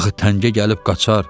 Axı təngə gəlib qaçar.